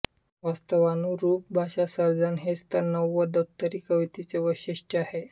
वास्तवानुरूप भाषासर्जन हेच तर नव्वदोत्तरी कवितेचे वैशिष्ट्य आहे